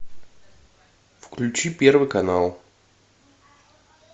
включи первый канал